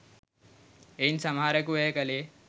එයින් සමහරෙකු එය කෙළේ